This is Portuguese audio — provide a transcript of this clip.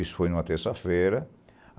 Isso foi em uma terça-feira.